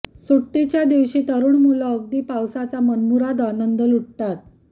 सुट्टीच्या दिवशी तरुण मुलं अगदी पावसाचा मनमुराद आनंद लुटतात